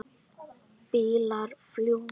Bílar fljúga.